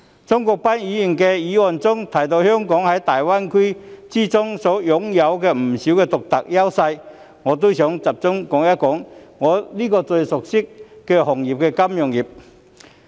鍾國斌議員的議案提到香港在粵港澳大灣區擁有不少獨特優勢，我也想集中談談我最熟悉的行業——金融業。